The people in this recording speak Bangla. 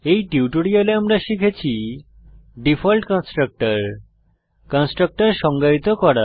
এই টিউটোরিয়ালে আমরা শিখেছি ডিফল্ট কনস্ট্রাক্টর কনস্ট্রাক্টর সংজ্ঞায়িত করা